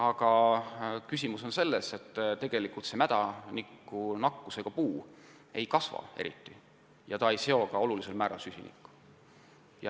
Ja probleem ise on selles, et mädanikuga nakatunud puu ei kasva eriti ega seo ka olulisel määral süsinikku.